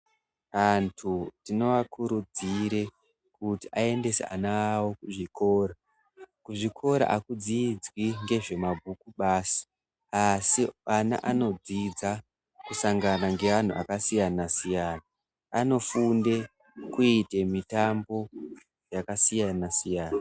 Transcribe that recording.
Vantu tinovakurudzire kuti aendese ana awo kuzvikora. Kuzvikora hakudzidzwi ngezvemabhuku basi asi ana anodzidza kusangana ngeanhu akasiyana siyana. Anofunde kuite mitambo yakasiyana siyana.